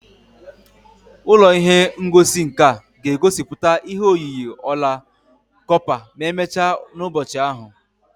Ụlọ ihe ngosi nka ga-egosipụta ihe oyiyi ọla kọpa ma emechaa n'ụbọchị ahụ